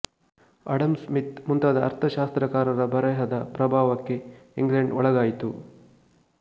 Adam Smith ಮುಂತಾದ ಅರ್ಥಶಾಸ್ತ್ರಕಾರರ ಬರೆಹದ ಪ್ರಭಾವಕ್ಕೆ ಇಂಗ್ಲೆಂಡ್ ಒಳಗಾಯಿತು